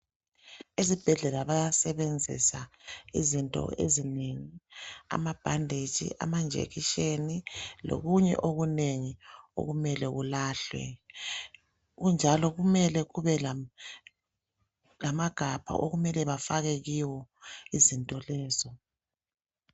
Esibhedlela bayasebenzisa izinto ezinengi amabhandetshi amajekiseni lokunye okunengi okumele kulahlwe kunjalo kumele kube lamagabha okumele bafake kiwo izinto lezo